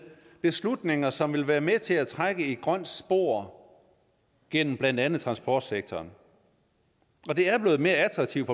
beslutninger som vil være med til at trække et grønt spor gennem blandt andet transportsektoren det er blevet mere attraktivt